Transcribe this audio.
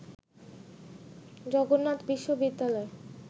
জগন্নাথ বিশ্ববিদ্যালয়